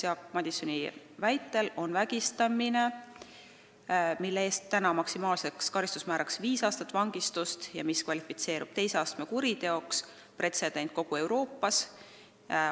Jaak Madisoni väitel on see, et vägistamise eest on meil maksimaalne karistusmäär viis aastat vangistust ja see kvalifitseerub teise astme kuriteoks, pretsedent kogu Euroopas.